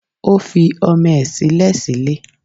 Ó fi ọmọ ẹ̀ sílẹ̀ sílé